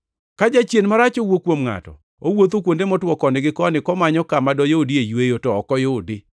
“Ka jachien marach owuok kuom ngʼato, owuotho kuonde motwo koni gi koni, komanyo kama doyudie yweyo, to ok oyudi.